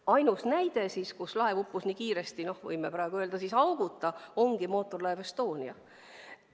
Ainus näide, kus laev uppus nii kiiresti ilma auguta – võime praegu nii öelda –, ongi mootorlaev Estonia.